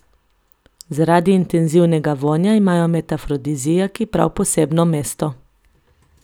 Zaradi intenzivnega vonja imajo med afrodiziaki prav posebno mesto.